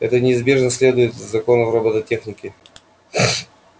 это неизбежно следует из законов робототехники